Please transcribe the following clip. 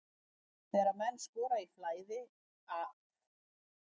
Þegar menn skora í flæði að þá líður mönnum vel.